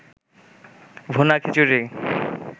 ভুনা খিচুরি